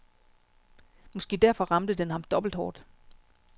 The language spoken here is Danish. Måske derfor ramte den ham dobbelt hårdt.